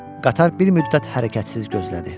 Qatar bir müddət hərəkətsiz gözlədi.